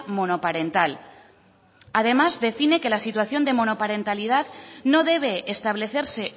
monoparental además define que la situación de monoparentalidad no debe establecerse